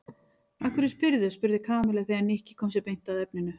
Af hverju spyrðu? spurði Kamilla þegar Nikki kom sér beint að efninu.